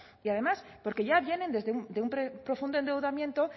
y además porque ya vienen de un profundo endeudamiento